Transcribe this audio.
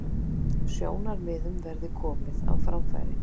Sjónarmiðum verði komið á framfæri